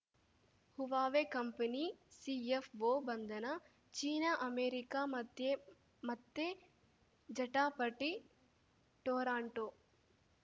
Huawei company CFO ಬಂಧನ China America ಮಧ್ಯೆ ಮತ್ತೆ ಜಟಾಪಟಿ ಟೊರಾಂಟೋ